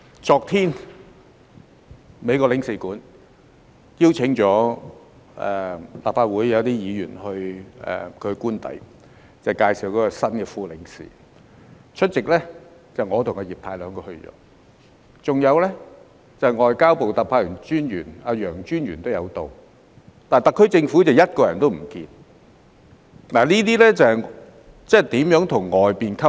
昨天美國領事邀請了一些立法會議員到其官邸，向我們介紹新任副領事，出席的人有我和葉太兩人，外交部駐港特派員公署的楊專員也有出席，但特區政府卻一個人也不見，那麼如何與外面溝通？